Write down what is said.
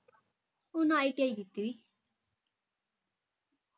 ਓਹਦਾ ITI ਕੀਤੀ ਹੋਈ